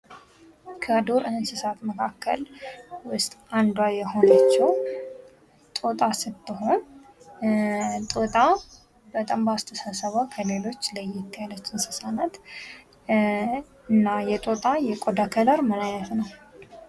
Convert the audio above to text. "ከዱር እንስሳት መካከል ውስጥ አንዱዋ የሆነችው ጦጣ ስትሆን, ጦጣ፦ በጣም በአስተሳሰቡዋ ከሌሎች ለየት ያለች እንስሳት ናት። እና የጦጣ የቆዳ ከለር ምን አይነት ነው"